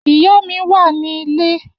Iya mi wa ni ile.